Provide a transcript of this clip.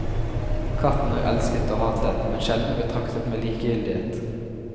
Katten er elsket og hatet, men sjelden betraktet med likegyldighet.